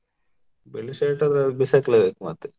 ಬಿಳಿ shirt ಆದ್ರೆ ಬಿಸಾಕ್ಲೆಬೇಕು ಮತ್ತೆ.